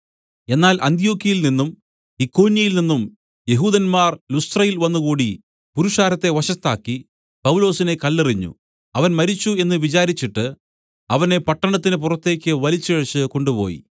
എന്നാൽ അന്ത്യൊക്യയിൽ നിന്നും ഇക്കോന്യയിൽ നിന്നും യെഹൂദന്മാർ ലുസ്ത്രയിൽ വന്നുകൂടി പുരുഷാരത്തെ വശത്താക്കി പൗലൊസിനെ കല്ലെറിഞ്ഞു അവൻ മരിച്ചു എന്ന് വിചാരിച്ചിട്ട് അവനെ പട്ടണത്തിന് പുറത്തേക്ക് വലിച്ചിഴച്ച് കൊണ്ടുപോയി